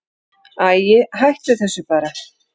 Æi, hættu þessu bara.